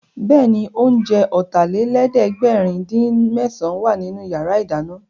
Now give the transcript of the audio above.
Bẹ́ẹ̀ni, oúnjẹ Ọ̀tàlélẹ̀ẹ́dẹ́gbẹ̀rin-dín-mésàn wà nínú yàrá ìdáná